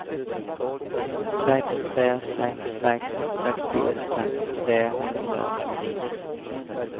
seks tre seks seks sekstiåtte tre hundre og tjueni